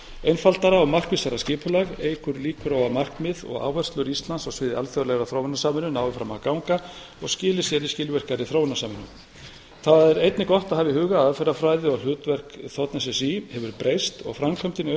einfaldara og markvissara skipulag eykur líkur á að markmið og áherslur íslands á sviði alþjóðlegrar þróunarsamvinnu nái fram að ganga og skili sér í skilvirkari þróunarsamvinnu það er einnig gott að hafa í huga að aðferðafræði og hlutverk þ s s í hefur breyst og framkvæmdin í auknum